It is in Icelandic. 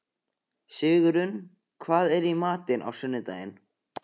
Sigurunn, hvað er í matinn á sunnudaginn?